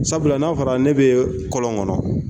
Sabula n'a fɔra ne bɛ kɔlɔn kɔnɔ